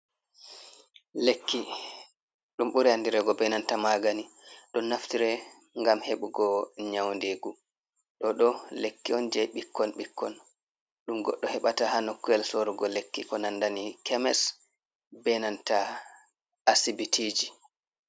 Lekki ɗum ɓuri andirego be nanta magani. Ɗon naftire ngam heɓugo nyaundigu. Ɗo ɗo lekki on je ɓikkon ɓikkon ɗum goɗɗo heɓata ha nokkuyel sorugo lekki ko nandani kemis be nanta hasibitiji.